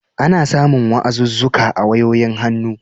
Ana samun wa'azuzzuka a wayoyin hannu.